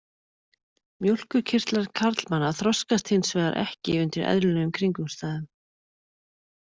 Mjólkurkirtlar karlmanna þroskast hins vegar ekki undir eðlilegum kringumstæðun.